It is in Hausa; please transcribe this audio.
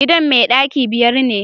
gidan mai daki biyar ne